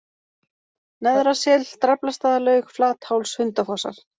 Neðra-Sel, Draflastaðalaug, Flatháls, Hundafossar